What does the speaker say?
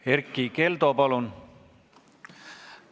Erkki Keldo, palun!